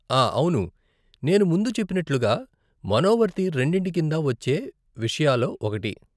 ఆ అవును, నేను ముందు చెప్పినట్లుగా, మనోవర్తి రెండింటి కిందా వచ్చే విషయాలో ఒకటి.